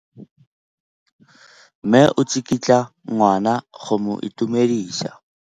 Mme o tsikitla ngwana go mo itumedisa.